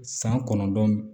San kɔnɔntɔn